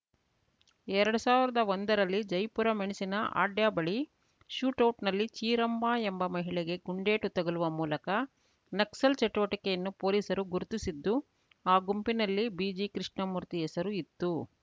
ಎರಡ್ ಸಾವಿರದಾ ಒಂದರಲ್ಲಿ ಜಯಪುರ ಮೆಣಸಿನ ಹಾಡ್ಯ ಬಳಿ ಶೂಟ್‌ಔಟ್‌ನಲ್ಲಿ ಚೀರಮ್ಮ ಎಂಬ ಮಹಿಳೆಗೆ ಗುಂಡೇಟು ತಗುಲುವ ಮೂಲಕ ನಕ್ಸಲ್‌ ಚಟುವಟಿಕೆಯನ್ನು ಪೊಲೀಸರು ಗುರುತಿಸಿದ್ದುಆ ಗುಂಪಿನಲ್ಲಿ ಬಿಜಿಕೃಷ್ಣಮೂರ್ತಿ ಹೆಸರು ಇತ್ತು